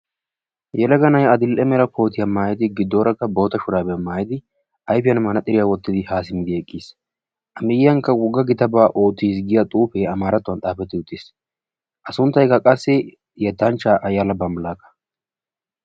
yelaga na'ay adl'ee shurabiya maayidi garssarakka boota maayidi ayfiyan mannaxxiriyaa wottidi ha simmidi eqqiis. a miyyiyankka wogga gitabaa oottiis yaagiya xuufe amarattuwan xaafeti uttiis. a sunttaykka qassi yettanchcha Fayala Falaqqa.